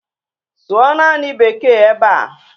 Sụọ naanị Beeke ebe a!